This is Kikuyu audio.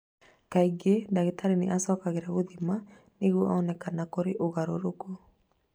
Kaingĩ dagĩtarĩ nĩ acokagĩrĩria gũthima nĩguo one kana nĩ kũrĩ ũgarũrũku.